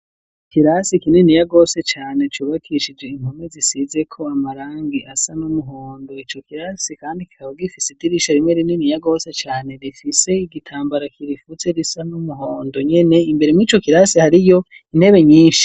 Ikirasi kininiya gose cane, cubakishije impome zisizeko amarangi asa n'umuhondo, ico kirasi kandi kikaba gifise idirisha rimwe rininiya gose cane, rifise igitambara kirifutse gisa n'umuhondo nyene, imbere yico kirasi hariyo intebe nyinshi.